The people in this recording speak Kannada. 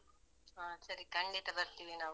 ಹ ಸರಿ, ಖಂಡಿತ ಬರ್ತಿವಿ ನಾವು.